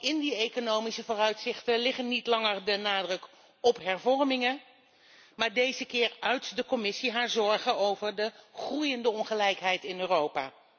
In die economische vooruitzichten ligt immers niet langer de nadruk op hervormingen, maar deze keer uit de Commissie haar zorgen over de groeiende ongelijkheid in Europa.